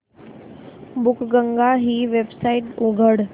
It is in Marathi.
बुकगंगा ही वेबसाइट उघड